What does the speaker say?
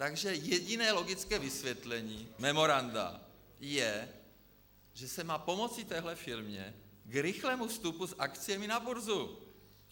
Takže jediné logické vysvětlení memoranda je, že se má pomoci téhle firmě k rychlému vstupu s akciemi na burzu.